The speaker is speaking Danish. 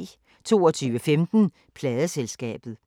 22:15: Pladeselskabet